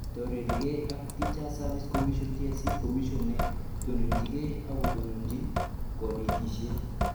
Torerikei ak Teacher's Service Commission (TSC), Commission ne tononjingei akotononjin konetishet